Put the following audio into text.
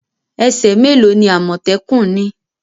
Ese me lo ni amotekun ni?